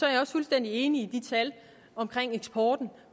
jeg også fuldstændig enig i de tal om eksporten